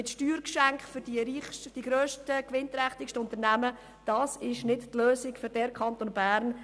Steuergeschenke für die reichsten, die grössten und die gewinnträchtigsten Unternehmen bieten nicht die Lösung für den Kanton Bern.